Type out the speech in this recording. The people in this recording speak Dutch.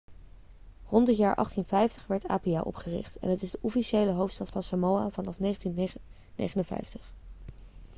rond het jaar 1850 werd apia opgericht en het is de officiële hoofdstad van samoa vanaf 1959